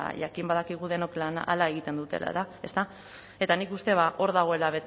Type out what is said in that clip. jakin badakigu denok hala egiten dutela eta nik uste dut hor dagoela